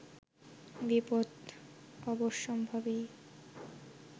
বিপদ অবশ্যম্ভাবী